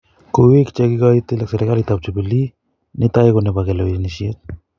" Kuik chekikooitil ak serkaliit ap jubilee, netai ko nebo kalewenisyet